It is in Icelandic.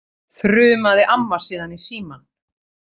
þrumaði amma síðan í símann.